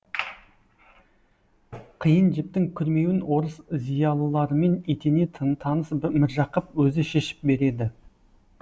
қиын жіптің күрмеуін орыс зиялыларымен етене таныс міржақып өзі шешіп береді